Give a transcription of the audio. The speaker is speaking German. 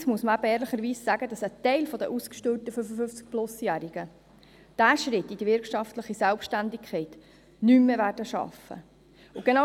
Andererseits muss man eben ehrlicherweise sagen, dass ein Teil der ausgesteuerten 55+-Jährigen diesen Schritt in die wirtschaftliche Selbstständigkeit nicht mehr schaffen wird.